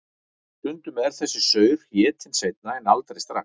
Stundum er þessi saur étinn seinna en aldrei strax.